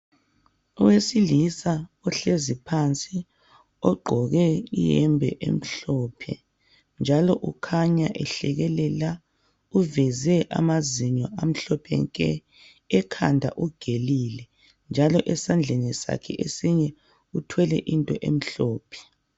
Owesilisa ohlezi phansi ogqqoke iyembe emhlophe njalo ukhanya ehlekelela uveze amazinyo amhlophe nke ekhanda ugelile njalo esandleni sakhe esinye uthwele into emhlophe